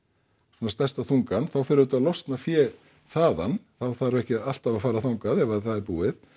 svona stærsta þungann þá fer auðvitað að losna fé þaðan þá þarf ekki alltaf að fara þangað ef að það er búið